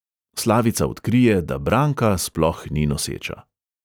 Slavica odkrije, da branka sploh ni noseča.